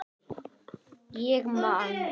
Ég man.